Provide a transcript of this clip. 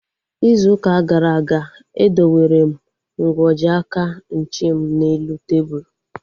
Ịzụ ụka gara aga, e dowere m nkwọji aka nche m n'elu tebụlu